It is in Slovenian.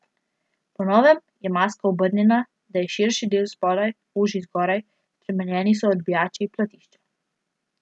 Po novem je maska obrnjena, da je širši del spodaj, ožji zgoraj, spremenjeni so odbijači, platišča.